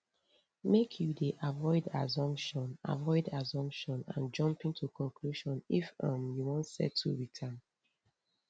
make you dey avoid assumption avoid assumption and jumping to conclusion if um you wan settle wit am